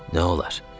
Nə olar?